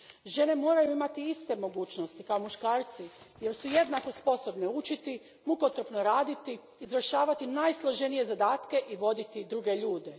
Žene moraju imati iste mogućnosti kao muškarci jer su jednako sposobne učiti, mukotrpno raditi, izvršavati najsloženije zadatke i voditi druge ljude.